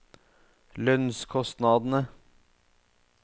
lønnskostnadene